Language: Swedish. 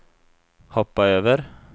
hoppa över